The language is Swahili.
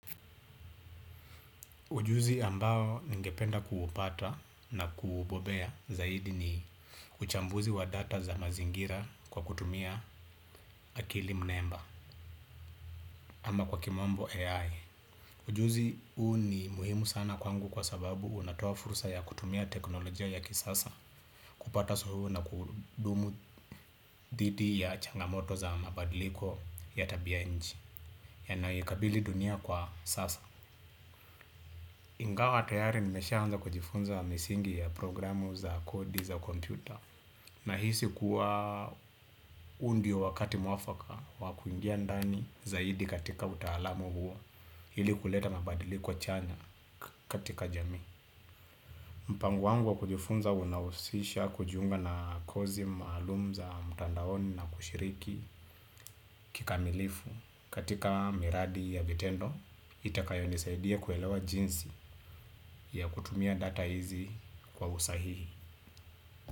Ujuzi ambao ningependa kuupata na kubobea zaidi ni uchambuzi wa data za mazingira kwa kutumia akili mnemba ama kwa kimombo AI. Ujuzi uu ni muhimu sana kwangu kwa sababu unatoa fursa ya kutumia teknolojia ya kisasa kupata sohu na kudumu dhidi ya changamoto za mabadiliko ya tabia nchi yanayoikabili dunia kwa sasa. Ingawa tayari nimeshaanza kujifunza wa misingi ya programu za kodi za kompyuta. Nahisi kuwa huu ndio wakati mwafaka wakuingia ndani zaidi katika utaalamu huwa, ili kuleta mabadili kwa chanya katika jamii. Mpango wangu wa kujifunza unahusisha kujiunga na kozi malum za mtandaoni na kushiriki kikamilifu katika miradi ya vitendo itakayo nisaidia kuelewa jinsi ya kutumia data hizi kwa usahihi.